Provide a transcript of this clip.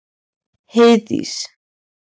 Heiðdís